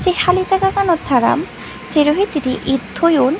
hali jaga ganot tara sero hittedi id thoyun.